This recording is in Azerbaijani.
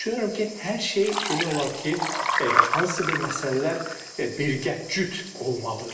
Ancaq düşünürəm ki, hər şey demək olar ki, hansısa bir məsələlər birgə, cüt olmalıdır.